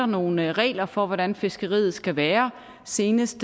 nogle regler for hvordan fiskeriet skal være senest